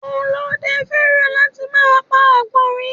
Ọlóde fẹ́ràn láti máa pa Àgbọ̀nrín